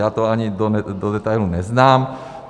Já to ani do detailu neznám.